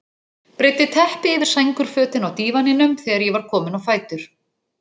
Breiddi teppi yfir sængurfötin á dívaninum þegar ég var kominn á fætur.